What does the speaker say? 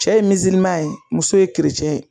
Cɛ ye ye muso ye ye